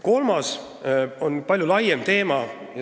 Kolmas teema on palju laiem.